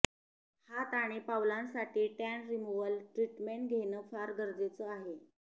हात आणि पावलांसाठी टॅन रिमूव्हल ट्रीटमेंट घेणं फार गरजेचं आहे